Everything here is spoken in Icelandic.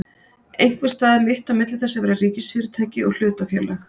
Einhvers staðar mitt á milli þess að vera ríkisfyrirtæki og hlutafélag?